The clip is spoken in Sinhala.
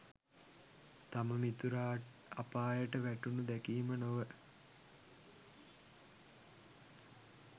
තම මිතුරා අපායට වැටෙනු දැකීම නොව